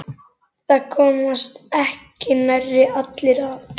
Það komast ekki nærri allir að.